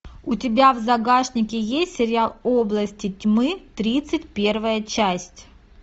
у тебя в загашнике есть сериал области тьмы тридцать первая часть